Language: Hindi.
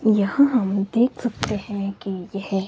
यहां हम देख सकते हैं कि यह--